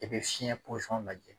I bɛ fiɲɛ posɔn lajɛ